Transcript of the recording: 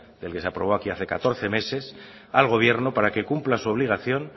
del que se aprobó aquí hace catorce meses al gobierno para que cumpla su obligación